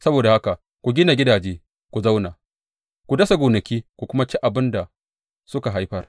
Saboda haka ku gina gidaje ku zauna; ku dasa gonaki ku kuma ci abin da suka haifar.’